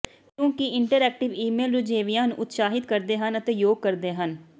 ਕਿਉਂਕਿ interactive email ਰੁਝੇਵਿਆਂ ਨੂੰ ਉਤਸ਼ਾਹਤ ਕਰਦੇ ਹਨ ਅਤੇ ਯੋਗ ਕਰਦੇ ਹਨ